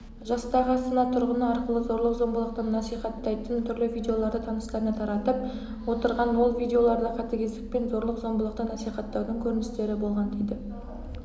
жастағы астана тұрғыны арқылы зорлық-зомбылықты наисхаттайтын түрлі видеоларды таныстарына таратып отырған ол видеоларда қатыгездік пен зорлық-зомбылықты насихаттаудың көріністері болған дейді